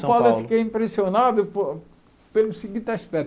São Paulo São Paulo eu fiquei impressionado por pelo seguinte aspecto.